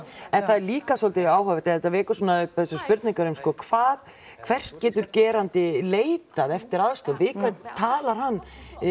en það er líka svolítið áhugavert eða þetta vekur svona upp þessar spurningar um sko hvað hvert getur gerandi leitað eftir aðstoð við hvern hann